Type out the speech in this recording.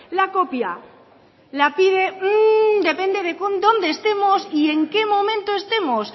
la copia la pide depende de dónde estamos y en qué momento estemos